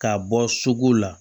K'a bɔ sugu la